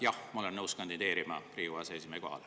Jah, ma olen nõus kandideerima Riigikogu aseesimehe kohale.